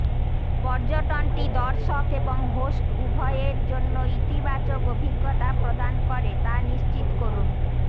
পর্যটনটি দর্শক এবং হোস্ট উভয়ের জন্য ইতিবাচক অভিজ্ঞতা প্রদান করে তা নিশ্চিত করুন